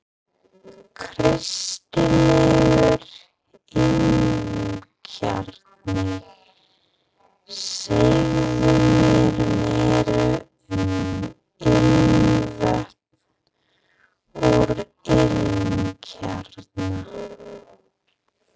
Kristilegur ilmkjarni Segðu mér meira um ilmvötn úr ilmkjarna?